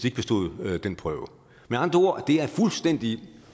ikke bestod den prøve med andre ord det er et fuldstændig